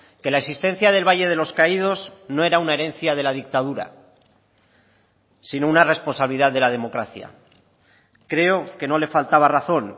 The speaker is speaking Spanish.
que la existencia del valle de los caídos no era una herencia de la dictadura sino una responsabilidad de la democracia creo que no le faltaba razón